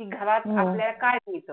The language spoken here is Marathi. हे चांगल्या